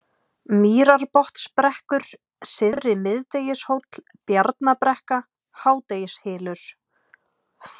Mýrarbotnsbrekkur, Syðri-Miðdegishóll, Bjarnabrekka, Hádegishylur